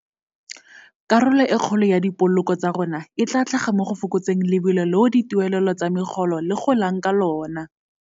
Karolo e kgolo ya dipoloko tsa rona e tla tlhaga mo go fokotseng lebelo leo dituelelo tsa megolo le golang ka lona.